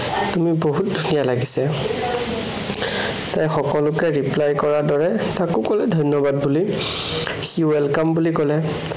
তুমি বহুত ধুনীয়া লাগিছে। তাই সকলোকে reply কৰাৰ দৰে তাকো কলে ধন্য়বাদ বুলি। সি welcome বুলি কলে।